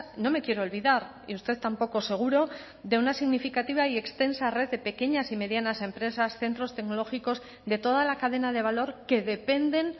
no me quiero olvidar y usted tampoco seguro de una significativa y extensa red de pequeñas y medianas empresas centros tecnológicos de toda la cadena de valor que dependen